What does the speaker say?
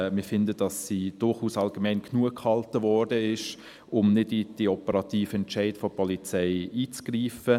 Wir denken, dass sie durchaus allgemein genug gehalten ist, um nicht in die operativen Entscheide der Polizei einzugreifen.